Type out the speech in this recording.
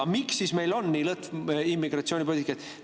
Aga miks siis meil on nii lõtv immigratsioonipoliitika?